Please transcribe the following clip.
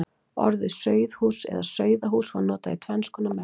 Orðið sauðhús eða sauðahús var notað í tvenns konar merkingu.